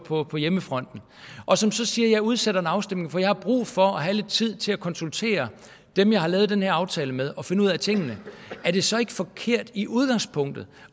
på på hjemmefronten og som så siger jeg udsætter en afstemning for jeg har brug for at have lidt tid til at konsultere dem jeg har lavet den her aftale med og finde ud af tingene er det så ikke forkert i udgangspunktet